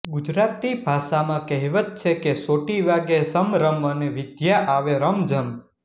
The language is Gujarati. ગુજરાતી ભાષામાં કહેવત છે કે સોટિ વાગે સમરમ અને વિધ્યા આવે રમજમ